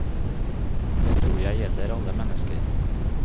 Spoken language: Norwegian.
Det tror jeg gjelder alle mennesker.